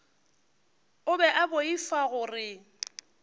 o be a boifa gore